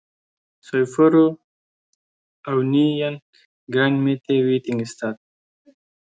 Þau fóru á nýjan grænmetisveitingastað.